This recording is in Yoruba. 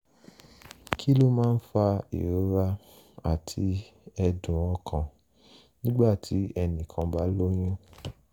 kí ló máa ń fa ìrora àti ẹ̀dùn ọkàn nígbà tí ẹnì kan bá lóyún?